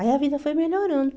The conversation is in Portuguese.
Aí a vida foi melhorando.